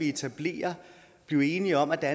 etablere blive enige om at der